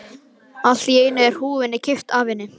Allt í einu er húfunni kippt af henni!